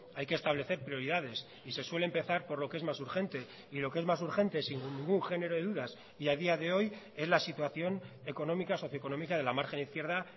hay que establecer prioridades y se suele empezar por lo que es más urgente y lo que es más urgente sin ningún género de dudas y a día de hoy es la situación económica socioeconómica de la margen izquierda